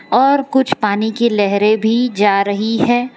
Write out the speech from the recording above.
और कुछ पानी की लहरें भी जा रही है।